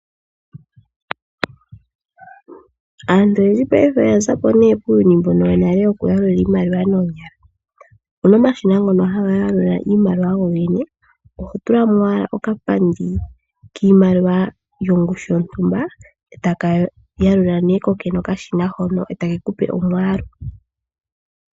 Aantu oyendji payife oya za ko kuuyuni mbono wonale wokuyalula noonyala. Opu na omashina ngono haga yalula iimaliwa go gene oho tula mo owala okapandi kiimaliwa yongushu yontumba e taka yalula nee kokene okashina hono e take kupe omwaalu.